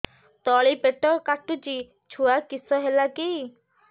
ତଳିପେଟ କାଟୁଚି ଛୁଆ କିଶ ହେଲା କି